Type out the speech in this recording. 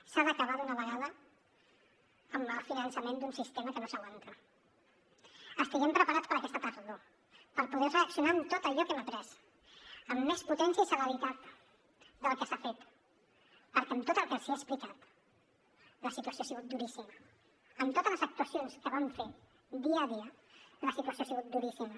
s’ha d’acabar d’una vegada amb el finançament d’un sistema que no s’aguanta estiguem preparats per a aquesta tardor per poder reaccionar amb tot allò que hem après amb més potència i celeritat del que s’ha fet perquè en tot el que els he explicat la situació ha sigut duríssima en totes les actuacions que vam fer dia a dia la situació ha sigut duríssima